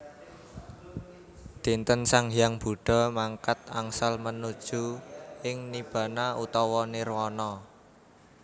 Dinten sang hyang Buddha mangkat angsal manuju ing Nibbana/Nirwana